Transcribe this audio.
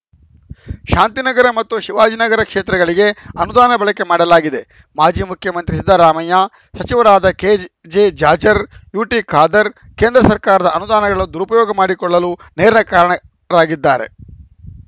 ಶಾಂತಿನಗರ ಮತ್ತು ಶಿವಾಜಿನಗರ ಕ್ಷೇತ್ರಗಳಿಗೆ ಅನುದಾನ ಬಳಕೆ ಮಾಡಲಾಗಿದೆ ಮಾಜಿ ಮುಖ್ಯಮಂತ್ರಿ ಸಿದ್ದರಾಮಯ್ಯ ಸಚಿವರಾದ ಕೆಜೆಜಾಜ್‌ರ್‍ ಯುಟಿಖಾದರ್‌ ಕೇಂದ್ರ ಸರ್ಕಾರದ ಅನುದಾನಗಳನ್ನು ದುರುಪಯೋಗ ಮಾಡಿಕೊಳ್ಳಲು ನೇರ ಕಾರಣರಾಗಿದ್ದಾರೆ